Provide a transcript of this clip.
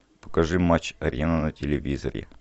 покажи матч арена на телевизоре